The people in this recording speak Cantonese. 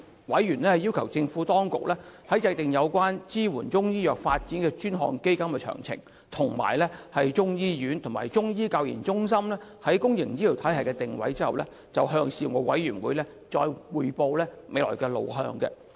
委員要求政府當局在訂定有關支援中醫藥發展的專項基金的詳情，以及中醫醫院和中醫教研中心在公營醫療體系的定位後，向事務委員會匯報未來路向。